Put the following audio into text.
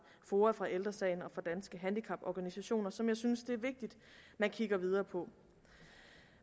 foa fra ældre sagen og fra danske handicaporganisationer som jeg synes det er vigtigt man kigger videre på